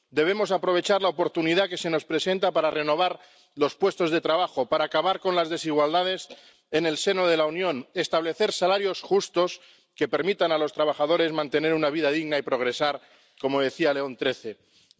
Debemos aprovechar la oportunidad que se nos presenta para renovar los puestos de trabajo, para acabar con las desigualdades en el seno de la Unión, para establecer salarios justos que permitan a los trabajadores mantener una vida digna y progresar, como decía León XIII.